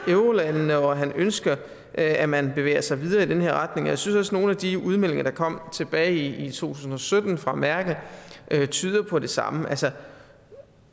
eurolandene og at han ønsker at man bevæger sig videre i den her retning jeg synes nogle af de udmeldinger der kom tilbage i tusind og sytten fra merkel tyder på det samme